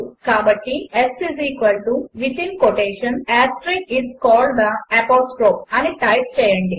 కాబట్టి s is called the apostrophe అని type చేయండి